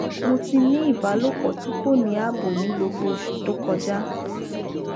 mo ti ni ibalopo ti ko ni abo ni gbogbo osu to koja